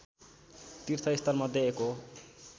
तीर्थ स्थलमध्ये एक हो